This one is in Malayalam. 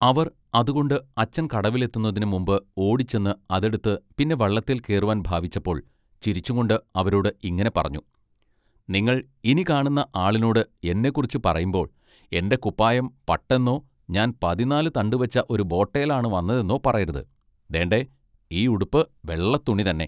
അവർ അതുകൊണ്ട് അച്ഛൻ കടവിലെത്തുന്നതിനു മുമ്പ് ഓടിച്ചെന്ന് അതെടുത്ത് പിന്നെ വള്ളത്തേൽ കേറുവാൻ ഭാവിച്ചപ്പൊൾ ചിരിച്ചുംകൊണ്ട് അവരോട് ഇങ്ങിനെ പറഞ്ഞു നിങ്ങൾ ഇനി കാണുന്ന ആളിനോട് എന്നെക്കുറിച്ച് പറയുമ്പോൾ എന്റെ കുപ്പായം പട്ട് എന്നൊ ഞാൻ പതിന്നാല് തണ്ടുവച്ച ഒരു ബേട്ടെ ബോലാണ് വന്നതെന്നൊ പറയരുത് ദേണ്ടെ ഈ ഉടുപ്പ് വെള്ളത്തുണി തന്നെ.